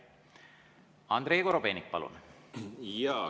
Andrei Korobeinik, palun!